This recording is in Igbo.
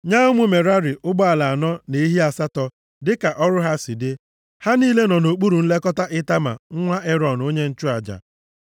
Nye ụmụ Merari, ụgbọala anọ na ehi asatọ, dịka ọrụ ha si dị. Ha niile nọ nʼokpuru nlekọta Itama nwa Erọn, onye nchụaja.